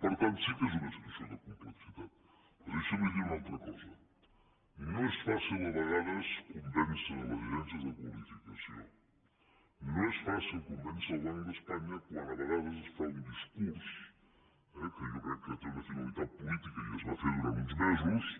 per tant sí que és una situació de complexitat però deixin me dir los una altra cosa no és fàcil a vegades convèncer les agències de qualificació no és fàcil convèncer el banc d’espanya quan a vegades es fa un discurs eh que jo crec que té una finalitat política i es va fer durant uns mesos